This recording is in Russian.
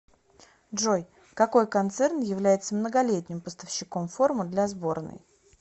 джой какой концерн является многолетним поставщиком формы для сборной